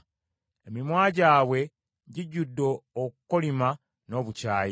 “Emimwa gyabwe gijjudde okukolima n’obukyayi.”